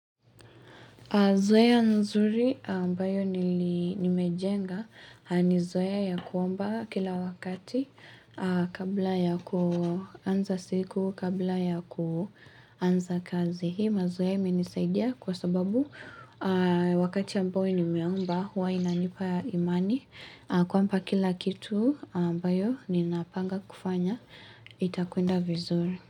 Zoea nzuri ambayo nimejenga, ni zoea ya kuomba kila wakati kabla ya kuanza siku, kabla ya kuanza kazi. Hii mazoea imenisaidia kwa sababu wakati ambayo nimeomba, huwa inanipa imani. Kwamba kila kitu ambayo ninapanga kufanya, itakuenda vizuri.